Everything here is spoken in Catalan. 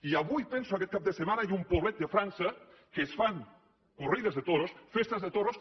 i avui penso aquest cap de setmana hi ha un poblet de frança en què es fan corrides de toros festes de toros